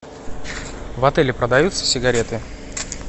в отеле продаются сигареты